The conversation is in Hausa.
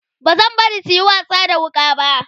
bazan bari suyi wasa da wuƙa ba